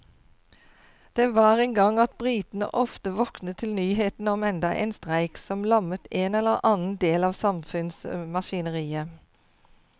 Det var en gang at britene ofte våknet til nyhetene om enda en streik som lammet en eller annen del av samfunnsmaskineriet.